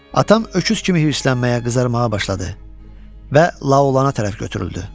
Atam öküz kimi hirslənməyə, qızarmağa başladı və Laolana tərəf götürüldü.